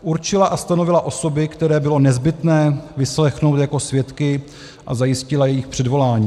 Určila a stanovila osoby, které bylo nezbytné vyslechnout jako svědky, a zajistila jejich předvolání.